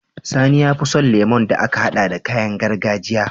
Sani yafi son lemon da aka hada da kayan gargajiya